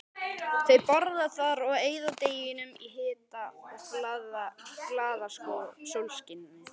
Þau borða þar og eyða deginum í hita og glaðasólskini.